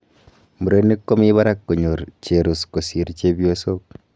murenik komii barak konyor cherus kosir chepiosog